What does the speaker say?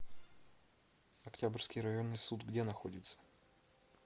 октябрьский районный суд где находится